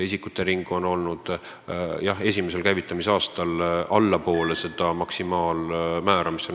Isikutering on olnud, jah, esimesel käivitamisaastal allpool ette nähtud maksimaalmäära.